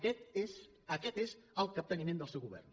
aquest és el capteniment del seu govern